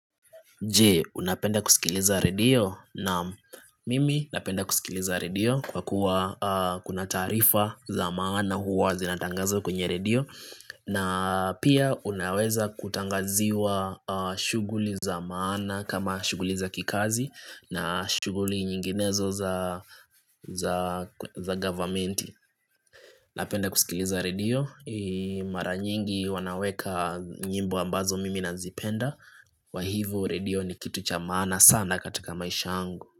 Je unapenda kusikiliza radio naam mimi napenda kusikiliza radio kwa kuwa kuna taarifa za maana huwa zinatangazwa kwenye radio na pia unaweza kutangaziwa shughuli za maana kama shughuli za kikazi na shughuli nyinginezo za za government napenda kusikiliza radio, mara nyingi wanaweka nyimbo ambazo mimi nazipenda kwa hivo radio ni kitu cha maana sana katika maisha yangu.